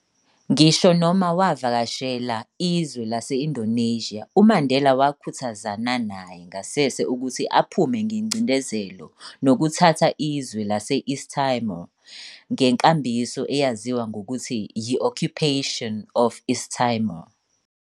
Ngisho noma wavakashela izwe lase-Indonesia, uMandela wakhuthazana naye ngasese ukuthi aphume ngencindezelo nokuthatha izwe lase-East Timor, ngenkambiso eyaziwa ngokuthi yi-occupation of East Timor.